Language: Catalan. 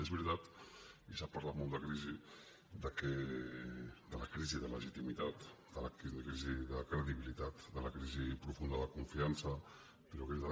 és veritat i s’ha parlat molt de crisi de la crisi de legitimitat de la crisi de credibilitat de la crisi profunda de confiança però és que ara